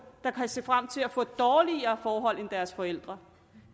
der kan se frem til at få dårligere forhold end deres forældre